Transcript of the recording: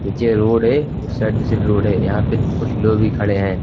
नीचे रोड है उस साइड जैसे भी रोड है यहां पे कुछ लोग भी खड़े हैं।